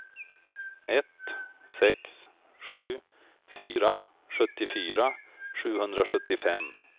ett sex sju fyra sjuttiofyra sjuhundrasjuttiofem